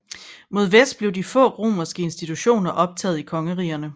Mod vest blev de få romerske institutioner optaget i kongerigerne